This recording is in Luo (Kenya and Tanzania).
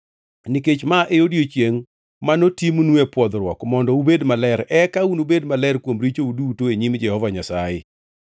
nikech ma en odiechiengʼ manotimnue pwodhruok mondo ubed maler, eka unubed maler kuom richou duto e nyim Jehova Nyasaye.